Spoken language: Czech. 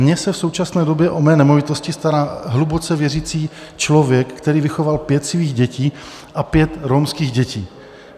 Mně se v současné době o mé nemovitosti stará hluboce věřící člověk, který vychoval pět svých dětí a pět romských dětí.